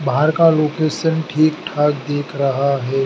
बाहर का लोकेशन ठीक ठाक दिख रहा है।